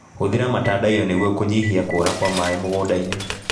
Hũthĩra matandaiyo nĩguo kũnyihia kũra kwa maĩ mũgũndainĩ.